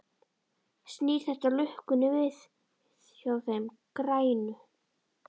Snýr þetta lukkunni við hjá þeim grænu?